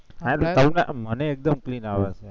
મને એકદમ clean આવે છે